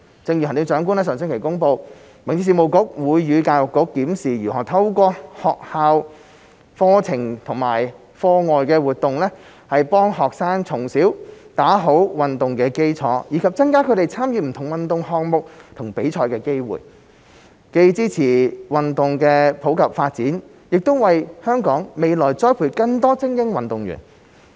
正如行政長官在上星期公布，民政局會與教育局檢視如何透過學校課程和課外活動，幫助學生從小打好運動的基礎，以及增加他們參與不同運動項目和比賽的機會，既支持運動普及發展，亦為香港未來栽培更多精英運動員。